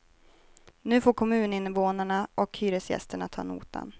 Nu får kommuninvånarna och hyresgästerna ta notan.